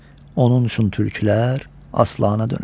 Onun üçün türkülər aslana dönüb.